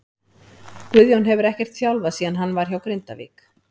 Guðjón hefur ekkert þjálfað síðan hann var hjá Grindavík.